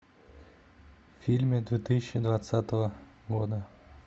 фильмы две тысячи двадцатого года